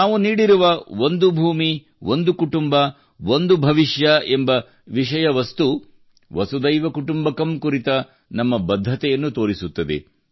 ನಾವು ನೀಡಿರುವ ಒಂದು ಭೂಮಿ ಒಂದು ಕುಟುಂಬ ಒಂದು ಭವಿಷ್ಯ ಎಂಬ ವಿಷಯ ವಸ್ತು ವಸುಧೈವ ಕುಟುಂಬಕಂ ಕುರಿತ ನಮ್ಮ ಬದ್ಧತೆಯನ್ನು ತೋರಿಸುತ್ತದೆ